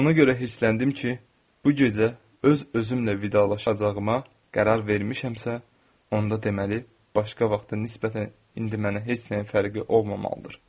Ona görə hirsləndim ki, bu gecə öz özümlə vidalaşacağıma qərar vermişəmsə, onda deməli, başqa vaxta nisbətən indi mənə heç nəyin fərqi olmamalıdır.